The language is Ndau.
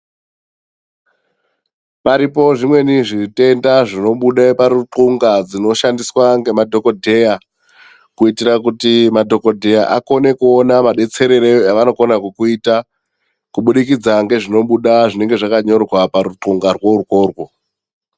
Paripo zvimweni zvitenda zvinobuda paruthlunga dzinoshandiswa ngemadhokodheya kuitira kuti madhokodheya akone kuona madetserere avanokona kukuita kubudikidza ngezvinobuda zvinonga zvakanyorwa paruthlungarwo urworwo.